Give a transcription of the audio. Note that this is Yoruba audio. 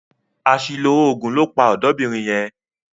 Àṣìlò òògùn ló pa ọ̀dọ́bìnrin yẹn lánàá.